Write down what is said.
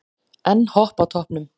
Enn Hopp á toppnum